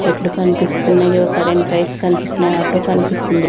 చెట్లు కనిపిస్తున్నాయి కదా కరెంట్ వైర్స్ కనిపిస్తున్నాయి ఆటో కనిపిస్తుంది.